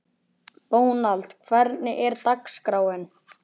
Dónald, hvernig er dagskráin?